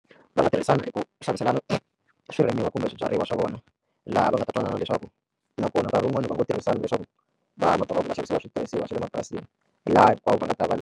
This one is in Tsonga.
Va nga tirhisana ku xaviselana swirimiwa kumbe swibyariwa swa vona laha va nga ta twanana leswaku nakona nkarhi wun'wani va ngo tirhisana leswaku vanhu va ta va va xavisiwa switirhisiwa swa le mapurasini laha hinkwavo va nga ta va.